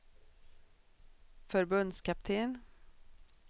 förbundskapten